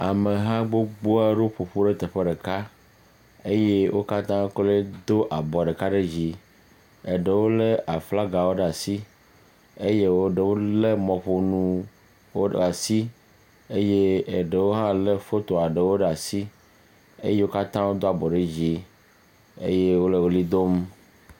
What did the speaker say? Ameha gbogboa ɖo ƒoƒu ɖe teƒe ɖeka eye wo katã kloe do abɔ ɖeka ɖe dzi. Eɖewo le aflaga ɖeka ɖe asi eye wo ɖewo le mɔƒonuwo le asi. Eye eɖewo hã le fotoa ɖewo ɖe asi eye wo katã doa bɔ ɖe dzi eye wole li dom.